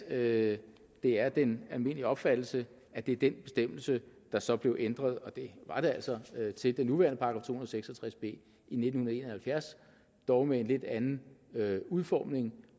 at det er den almindelige opfattelse at det er den bestemmelse der så blev ændret og det var det altså til den nuværende § to og seks og tres b i nitten en og halvfjerds dog med en lidt anden udformning